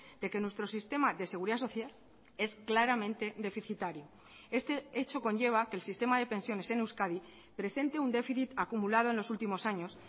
de que nuestro sistema de seguridad social es claramente deficitario este hecho conlleva a que el sistema de pensiones en euskadi presente un déficit acumulado en los últimos años